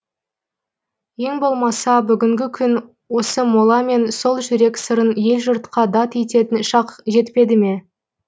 ең болмаса бүгінгі күн осы мола мен сол жүрек сырын ел жұртқа дат ететін шақ жетпеді ме